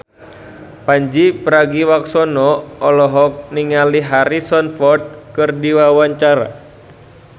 Pandji Pragiwaksono olohok ningali Harrison Ford keur diwawancara